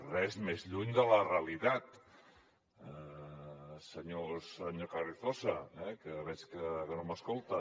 res més lluny de la realitat senyor carrizosa que veig que no m’escolta